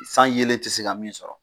San yelen te se ka min sɔrɔ